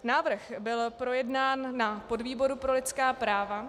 Návrh byl projednán na podvýboru pro lidská práva -